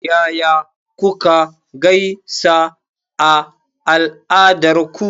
Yaya kuka gaisa a al'adarku?